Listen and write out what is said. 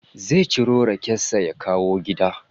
Zai ciro raken sa ya kawo gida